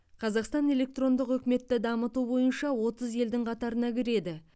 қазақстан электрондық үкіметті дамыту бойынша отыз елдің қатарына кіреді